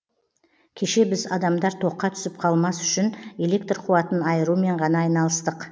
кеше біз адамдар тоққа түсіп қалмас үшін электр қуатын айырумен ғана айналыстық